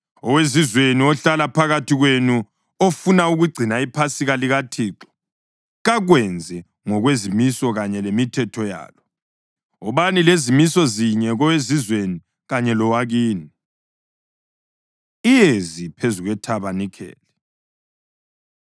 Owezizweni ohlala phakathi kwenu ofuna ukugcina iPhasika likaThixo kakwenze ngokwezimiso kanye lemithetho yalo. Wobani lezimiso zinye kowezizweni kanye lowakini.’ ” Iyezi Phezu KweThabanikeli